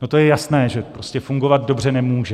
No to je jasné, že prostě fungovat dobře nemůže.